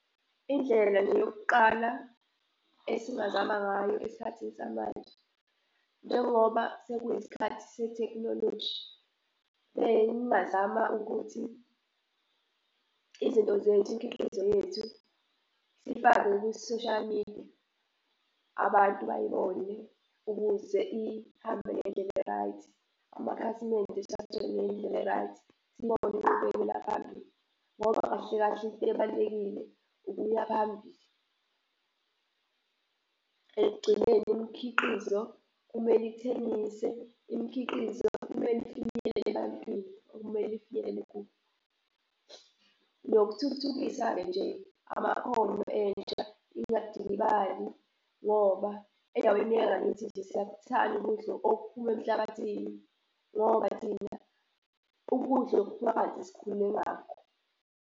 Indlela yokuqala esingazama ngayo esikhathini samanje njengoba sekuyisikhathi sethekhinoloji bengingazama ukuthi izinto zethu imkhiqizo yethu siyifake kwi-social media, abantu bayibone ukuze ihambe ngendlela e-right. Amakhasimende siwathole ngendlela e-right. Sibone inqubekela phambili ngoba kahle kahle into ebalulekile ukuya phambili. Ekugcineni imikhiqizo kumele ithengise, imikhiqizo kumele ifinyelele ebantwini, okumele ifinyelele kubo. Nokuthuthukisa-ke nje amaholo entsha ingadikibali, ngoba endaweni yangakithi nje siyakthanda ukudla okuphuma emhlabathini, ngoba thina ukudla okuphuma phansi sikhule ngakho.